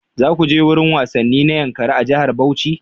Za ku je wurin wasanni na Yankari a jihar Bauchi?